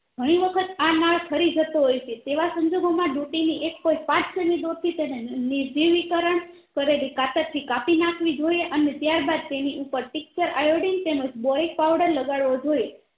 ધણી વખત આ નાળ ખરી જતો હોય છે તેવા સંજોગો માં ડુંટી ની એક કોઈ part થી તેને ની જીવીકરણ કરેલી કતાર થી કાપી નાખવી જોઈએ અને ત્યારબાદતેની ઉપર tincture iodine તેમજ boric powder લગાડવો જોયેએ